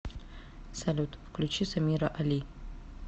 салют включи самира али